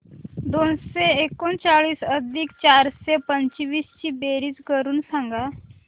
दोनशे एकोणचाळीस अधिक चारशे पंचवीस ची बेरीज करून सांगा